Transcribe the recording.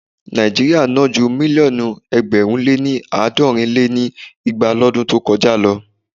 Nàíjíríà ná ju mílíọ̀nù ẹgbẹ̀rún lé àádọ́rin lé ní igba lọdún tó kọjá lọ.